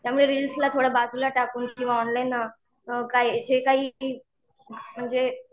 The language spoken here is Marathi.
त्यामुळे रिल्स ला थोडं बाजुला टाकून ऑनलाईन, काही जे काही म्हणजे